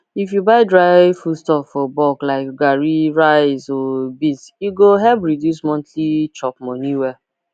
if you buy dry foodstuff for bulk like garri rice or beans e go help reduce monthly chopmoney well